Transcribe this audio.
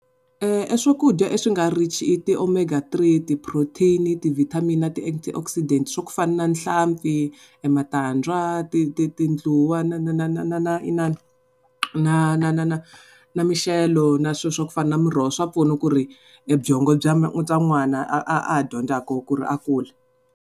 Eswakudya leswi nga rich i ti-omega three, ti-protein, ti-vitamin na ti swa ku fana na nhlampfi, ematandza, ti ti tindluwa na na na na na na inana na na na na mixelo na swilo swa ku fana na miroho swa pfuna ku ri ebyongo bya n'wana a ha dyondzaka ku ri a kula.